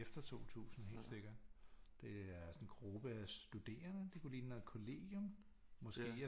Det er efter 2000 helt sikkert det er sådan en gruppe af studerende det kunne ligne noget kollegium måske